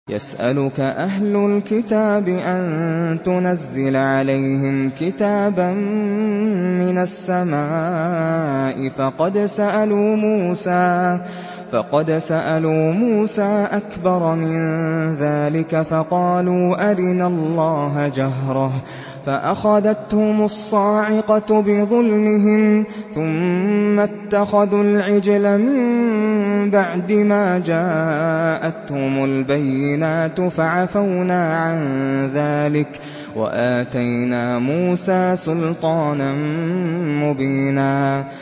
يَسْأَلُكَ أَهْلُ الْكِتَابِ أَن تُنَزِّلَ عَلَيْهِمْ كِتَابًا مِّنَ السَّمَاءِ ۚ فَقَدْ سَأَلُوا مُوسَىٰ أَكْبَرَ مِن ذَٰلِكَ فَقَالُوا أَرِنَا اللَّهَ جَهْرَةً فَأَخَذَتْهُمُ الصَّاعِقَةُ بِظُلْمِهِمْ ۚ ثُمَّ اتَّخَذُوا الْعِجْلَ مِن بَعْدِ مَا جَاءَتْهُمُ الْبَيِّنَاتُ فَعَفَوْنَا عَن ذَٰلِكَ ۚ وَآتَيْنَا مُوسَىٰ سُلْطَانًا مُّبِينًا